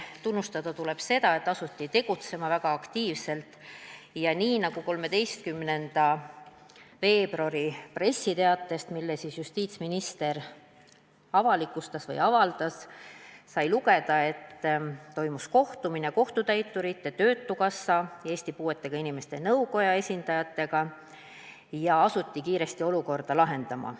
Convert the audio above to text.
Tunnustada tuleb seda, et asuti tegutsema väga aktiivselt, ja nii nagu 13. veebruari pressiteatest, mille justiitsminister avalikustas või avaldas, sai lugeda, toimus kohtumine kohtutäiturite, Töötukassa ja Eesti puuetega inimeste nõukoja esindajatega ning olukorda asuti kiiresti lahendama.